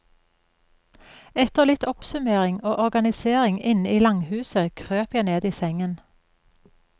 Etter litt oppsummering og organisering inne i langhuset krøp jeg ned i sengen.